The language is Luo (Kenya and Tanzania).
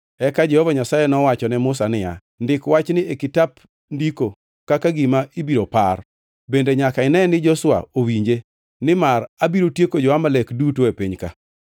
Eka Jehova Nyasaye nowacho ne Musa niya, “Ndik wachni e kitap ndiko kaka gima ibiro par bende nyaka ine ni Joshua owinje, nimar abiro tieko jo-Amalek duto e piny ka.”